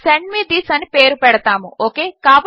send me this అని పేరు పెడతాము ఓకే